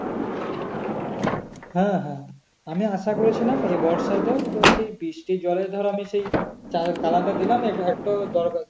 হ্যাঁ হ্যাঁ হ্যাঁ আমি আসা করেছিলাম এ বর্ষা এতেও তো সেই বৃষ্টির জলের ধরো আমি সেই . দিলাম একটু দরকারে